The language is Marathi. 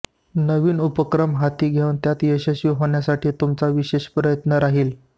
नवीन उपक्रम हाती घेऊन त्यात यशस्वी होण्यासाठी तुमचा विशेष प्रयत्न राहील